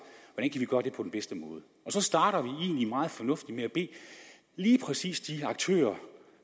hvordan bedste måde så starter vi egentlig meget fornuftigt med at bede lige præcis de aktører